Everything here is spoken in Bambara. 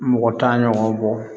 Mɔgɔ tan ɲɔgɔn bɔ